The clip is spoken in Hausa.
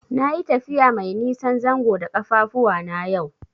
Nayi tafiya mai nisan zango da ƙafafuwana yau.